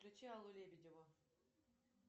включи аллу лебедеву